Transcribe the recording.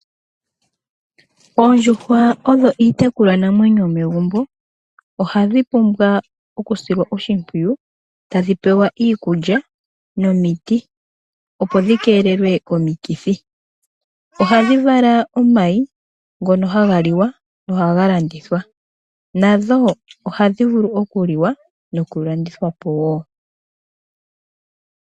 Oondjuhwa odho iitekulwanamwenyo yomegumbo. Ohadhi pumbwa okusilwa oshimpwiyu, tadhi pewa iikulya nomiti opo dhi keelelwe komikithi. Ohadhi vala omayi ngono haga liwa, nohaga landithwa. Nadho ohadhi vulu okuliwa nokulandithwa po wo.